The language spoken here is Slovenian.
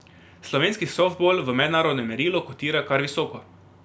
Slovenski softbol v mednarodnem merilu kotira kar visoko.